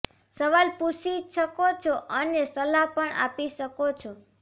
સવાલ પૂછી શકો છો અને સલાહ પણ આપી શકો છો